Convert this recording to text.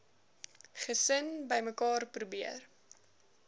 gesin bymekaar probeer